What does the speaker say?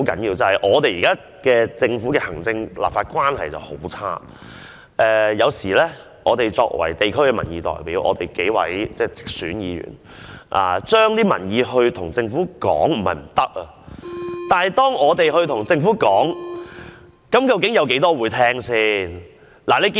現時行政、立法關係惡劣，有時作為地區民意代表，當直選議員向政府反映民意時，即使並非不可行，但究竟有多少是政府聽得入耳的呢？